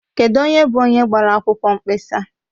Kedụ onye bụ onye gbara akwụkwọ nkpesa?